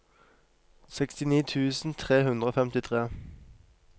sekstini tusen tre hundre og femtifire